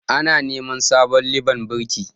Ana neman sabon liban birki